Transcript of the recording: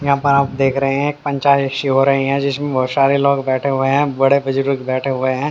यहाँ पर आप देख रहे हैं एक पंचायत शी हो रही है जिसमें बहुत शारे लोग बैठे हुए हैं बड़े बुजुर्ग बैठे हुए हैं।